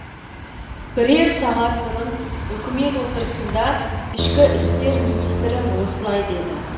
бірер сағат бұрын үкімет отырысында ішкі істер министрі осылай деді